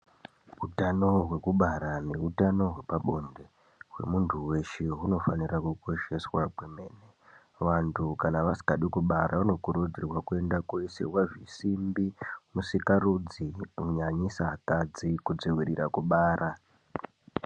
Utano hwekubara nehutano hwepabonde hwemunhu weshe hunofanira kukosheswa kwemene vantu kana vasingadi kubara vanokurudzirwa kuenda koisirwa zvisimbi musikarudzi kunyanyisa akadzi kudzivirira kubara.